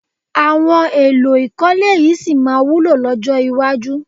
Àwọn èlò ìkọ́lé yìí sì máa wúlò lọ́jọ́ iwájú